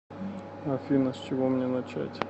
афина с чего мне начать